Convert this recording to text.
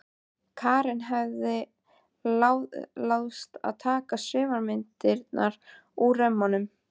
Karen hafði láðst að taka sumar myndirnar úr römmunum.